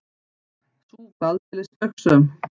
Sú var aldeilis spaugsöm!